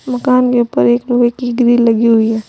मकान के ऊपर एक लोहे की ग्रिल लगी हुई है।